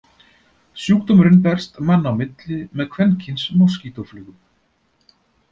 Sjúkdómurinn berst manna á milli með kvenkyns moskítóflugum.